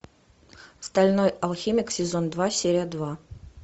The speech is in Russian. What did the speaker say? стальной алхимик сезон два серия два